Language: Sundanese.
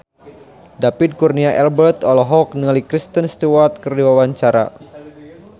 David Kurnia Albert olohok ningali Kristen Stewart keur diwawancara